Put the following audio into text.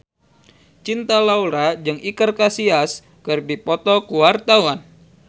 Cinta Laura jeung Iker Casillas keur dipoto ku wartawan